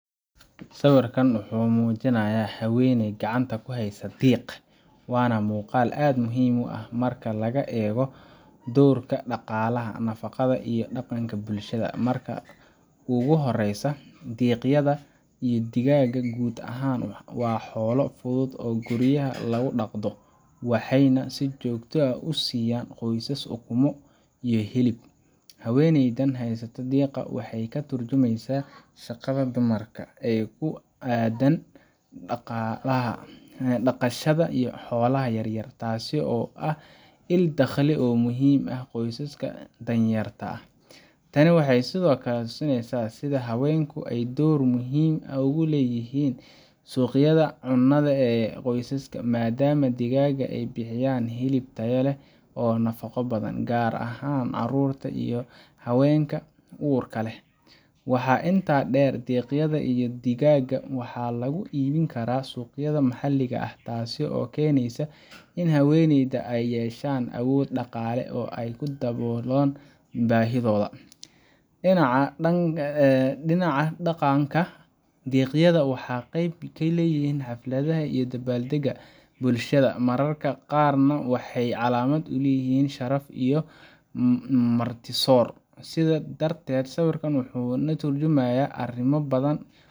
Sawirkan wuxuu muujinayaa haweeney gacanta ku haysa diiq, waana muuqaal aad u muhiim ah marka laga eego doorka dhaqaalaha, nafaqada, iyo dhaqanka ee bulshada. Marka ugu horreysa, diiqyada iyo digaagga guud ahaan waa xoolo fudud oo guryaha lagu dhaqdo, waxayna si joogto ah u siiyaan qoysaska ukumo iyo hilib. Haweeneydan haysata diiqa waxay ka tarjumaysaa shaqada dumarka ee ku aaddan dhaqashada xoolaha yaryar, taasoo ah il-dakhli oo muhiim u ah qoysaska danyarta ah. Tani waxay sidoo kale tusinaysaa sida haweenku ay door muhiim ah ugu leeyihiin suqyadda cunnada ee qoysaska, maadaama digaagga ay bixiyaan hilib tayo leh oo nafaqo badan, gaar ahaan carruurta iyo haweenka uurka leh. Waxaa intaa dheer, diiqyada iyo digaagga waxaa lagu iibin karaa suuqyada maxalliga ah, taas oo keenaysa in haweenka ay yeeshaan awood dhaqaale oo ay ku daboosho baahiyahooda. Dhinaca dhaqanka, diiqyada waxay qayb ka yihiin xafladaha iyo dabaal dega bulshada – mararka qaarna waxay calaamad u yihiin sharaf ama martisoor. Sidaa darteed, sawirkan yar wuxuu ka tarjumayaa arrimo badan